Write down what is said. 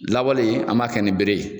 Lawali an m'a kɛ nin bere ye.